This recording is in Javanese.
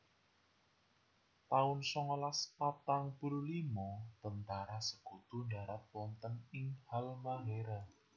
taun songolas patang puluh limo Tentara Sekutu ndharat wonten ing Halmahéra